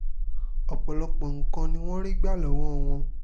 ọ̀pọ̀lọpọ̀ nǹkan ni wọ́n rí gbà lọ́wọ́ wọn